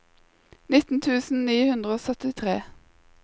nitten tusen ni hundre og syttitre